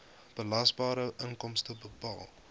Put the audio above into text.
belasbare inkomste bepaal